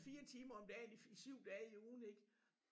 4 timer om dagen i 7 dage i ugen ik